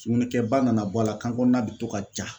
Sugunɛkɛba nana bɔ a la kan kɔnɔna bɛ to ka ja.